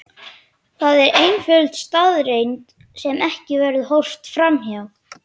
Það er einföld staðreynd sem ekki verður horft fram hjá.